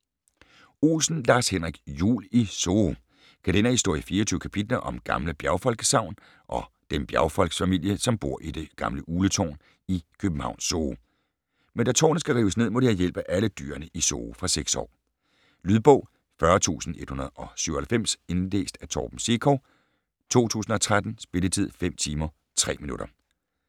Olsen, Lars-Henrik: Jul i Zoo Kalenderhistorie i 24 kapitler om gamle bjergfolkssagn og den bjergfolksfamilie, som bor i det gamle Ugletårn i Københavns zoo. Men da tårnet skal rives ned, må de have hjælp af alle dyrene i zoo. Fra 6 år. Lydbog 40197 Indlæst af Torben Sekov, 2013. Spilletid: 5 timer, 3 minutter.